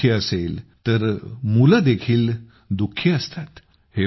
आई दुःखी असेल तर मुलंदेखील दुखी असतात